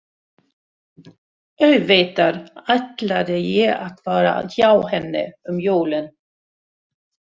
Auðvitað ætlaði ég að vera hjá henni um jólin.